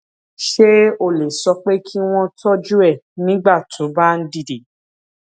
ṣé o lè sọ pé kí wón tójú ẹ nígbà tó o bá ń dìde